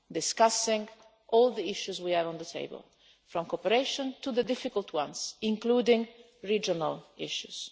We discuss all the issues we have on the table, from cooperation to the difficult ones, including regional issues.